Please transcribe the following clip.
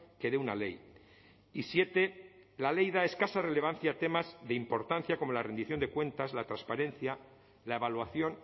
que de una ley y siete la ley da escasa relevancia a temas de importancia como la rendición de cuentas la transparencia la evaluación